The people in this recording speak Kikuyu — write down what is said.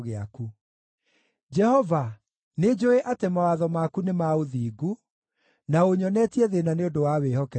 Jehova, nĩnjũũĩ atĩ mawatho maku nĩ ma ũthingu, na ũnyonetie thĩĩna nĩ ũndũ wa wĩhokeku waku.